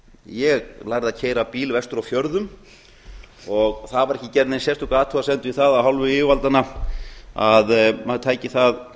ég lærði að keyra bíl vestur á fjörðum það var ekki gerð nein sérstök athugasemd við það af hálfu yfirvaldanna að maður tæki það